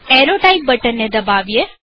arrow type button ને દબાવીએ